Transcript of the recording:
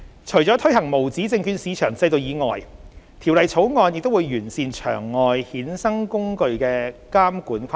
除了推行無紙證券市場制度以外，《條例草案》亦會完善場外衍生工具的監管框架。